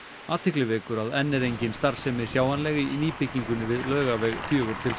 athygli vekur að enn er engin starfsemi sjáanleg í nýbyggingunni við Laugaveg fjögur til